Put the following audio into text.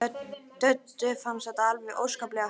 Döddu fannst þetta alveg óskaplega fyndið.